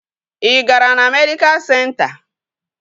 Ị gara na medịkal senta?